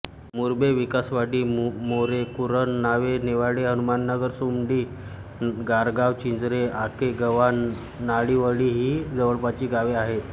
मुरबेविकासवाडी मोरेकुरण वावे नेवाळे हनुमाननगर सुमडी गारगाव चिंचरे आकेगव्हाण नाणिवळी ही जवळपासची गावे आहेत